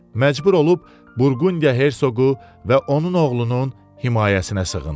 Məcbur olub Burqundiya Hersoqu və onun oğlunun himayəsinə sığındı.